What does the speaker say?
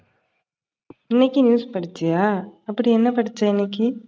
இன்னைக்கும் news படிச்சியா? அப்டி என்ன படிச்ச இன்னைக்கு?